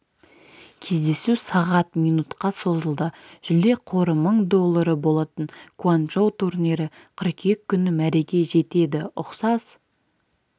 кездесу сағат минутқа созылды жүлде қоры мың доллары болатын гуанчжоу турнирі қыркүйек күні мәреге жетеді ұқсас